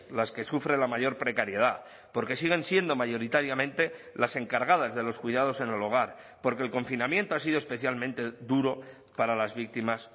las que sufren la mayor precariedad porque siguen siendo mayoritariamente las encargadas de los cuidados en el hogar porque el confinamiento ha sido especialmente duro para las víctimas